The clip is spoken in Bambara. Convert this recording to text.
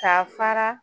Ka fara